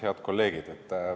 Head kolleegid!